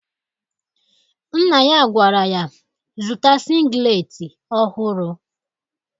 Nna ya gwara ya zụta singleti ọhụrụ